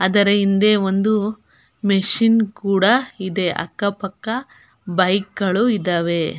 ಅದರ ಹಿಂದೆ ಒಂದು ಮೆಶೀನ್ ಕೂಡ ಇದೆ ಅಕ್ಕ ಪಕ್ಕ ಬೈಕ್ ಗಳು ಇದಾವೆ.